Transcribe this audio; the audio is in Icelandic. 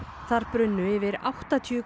þar brunnu yfir áttatíu